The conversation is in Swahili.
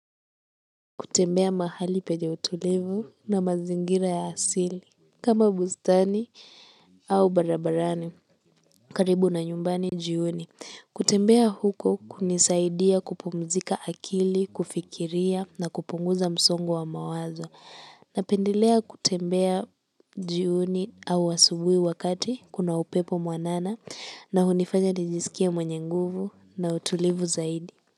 Kutembea mahali penye utulivu na mazingira ya asili. Kama bustani au barabarani. Karibu na nyumbani jioni. Kutembea huko kunisaidia kupumzika akili, kufikiria na kupunguza msongo wa mawazo. Napendelea kutembea jioni au asubuhi wakati kuna upepo mwanana na hunifanya nijiskie mwenye nguvu na utulivu zaidi.